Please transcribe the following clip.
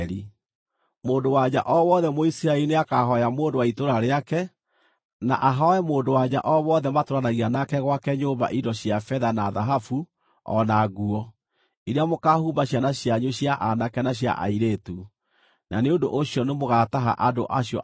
Mũndũ-wa-nja o wothe Mũisiraeli nĩakahooya mũndũ wa itũũra rĩake, na ahooe mũndũ-wa-nja o wothe matũũranagia nake gwake nyũmba indo cia betha na thahabu o na nguo, iria mũkaahumba ciana cianyu cia aanake na cia airĩtu. Na nĩ ũndũ ũcio nĩmũgataha andũ acio a Misiri.”